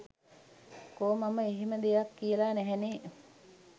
කෝ මම එහෙම දෙයක් කියල නැහැනෙ